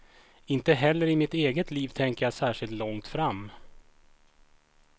Inte heller i mitt eget liv tänker jag särskilt långt fram.